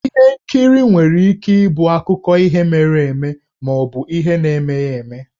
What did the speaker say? Ihe nkiri nwere ike ịbụ akụkọ ihe mere eme ma ọ bụ ihe na-emeghi eme.